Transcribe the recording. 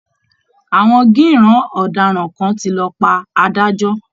Àwọn gíìràn ọ̀daràn kan ti lọ pa adájọ́